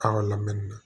An ka lamɛnni na